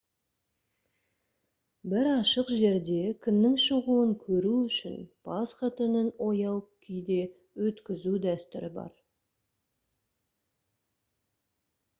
бір ашық жерде күннің шығуын көру үшін пасха түнін ояу күйде өткізу дәстүрі бар